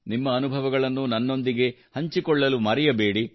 ನಿಮ್ಮ ಅನುಭವಗಳನ್ನು ನನ್ನೊಂದಿಗೆ ಹಂಚಿಕೊಳ್ಳಲು ಮರೆಯಬೇಡಿ